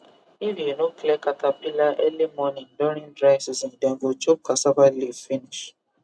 if you no clear caterpillar early morning during dry season dem go chop cassava leaf finish